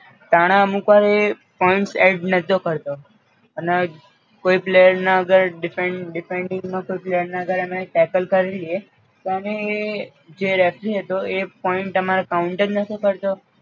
ટાણે અમુક્વાર એ points એડ નતો કરતો અને કોઈ player ના અગર defend defending માં કોઈ player અગર અમે ટેકલ કરી લિયે તો એને જે referee હતો એ પોઈન્ટ અમારા કાઉન્ટ જ નતો કરતો